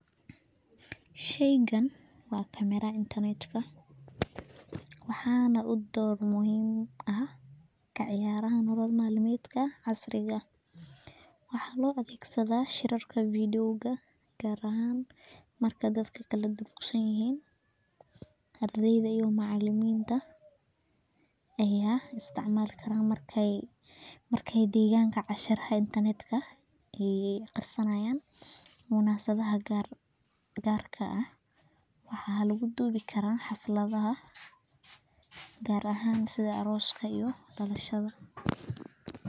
Sheyga waa camera intarnetka waxaana u door muhiim ah kaciyaraaha nolol malmeedka casriga ah waxaa loo adhegsadha shirarka videoga gaar ahaan marka dadka laka duruqsanyihin ardeyda iyo macalimiinta ayaa isticmal karaan marka degaanka cashiraha internetka ey aqrisanaya munaasabada gaarka ah waxaa laguduubi Kara xafladha gaar ahaan sidha arooska iyo dalshadha